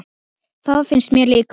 Það finnst mér líka.